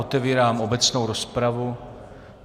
Otevírám obecnou rozpravu.